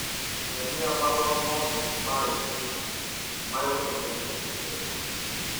Nyonia marũa mothe ma i-mīrū maria tũtũmĩirũo ica ikuhĩ